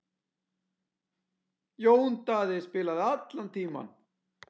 Jón Daði spilaði allan tímann.